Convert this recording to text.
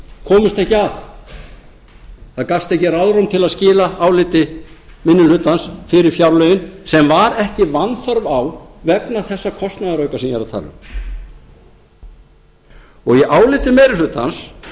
komust ekki að það gafst ekki ráðrúm til að skila áliti minni hlutans fyrir fjárlögin sem var ekki vanþörf á vegna þessa kostnaðarauka sem ég er að tala um í áliti meiri hlutans